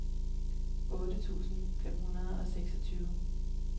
otte tusind fem hundrede og seksogtyve